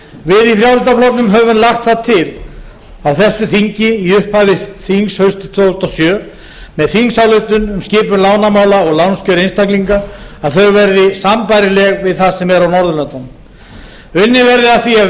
við í frjálslynda flokknum höfum lagt það til á þessu þingi í upphafi þings haustið tvö þúsund og sjö með þingsályktun um skipun lánamála og lánskjör einstaklinga að þau verði sambærileg við það sem er á norðurlöndunum unnið verði að því að